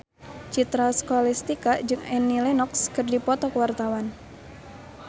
Citra Scholastika jeung Annie Lenox keur dipoto ku wartawan